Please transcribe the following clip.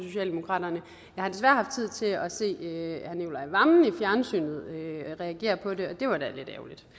socialdemokraterne jeg har desværre haft tid til at se herre nicolai wammen i fjernsynet reagere på det og det var da lidt